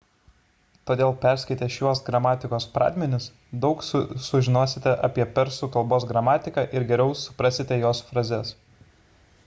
todėl perskaitę šiuos gramatikos pradmenis daug sužinosite apie persų k gramatiką ir geriau suprasite jos frazes